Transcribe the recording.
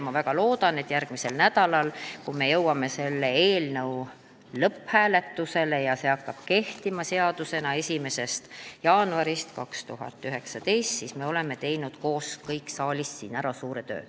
Ma väga loodan, et järgmisel nädalal me jõuame selle eelnõu lõpphääletusele ja seadus hakkab kehtima 1. jaanuarist 2019, seega me kõik koos oleme teinud siin saalis ära suure töö.